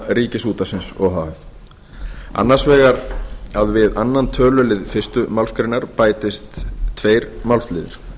ríkisútvarpsins o h f annars vegar að við aðra töluliðar fyrstu málsgrein bætist tveir málsliðir